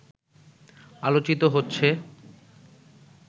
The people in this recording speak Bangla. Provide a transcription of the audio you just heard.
আলোচিত হচ্ছে